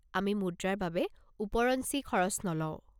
আমি মুদ্ৰাৰ বাবে ওপৰঞ্চি খৰচ নলওঁ।